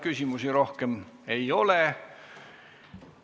Küsimusi rohkem ei ole.